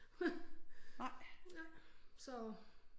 Nej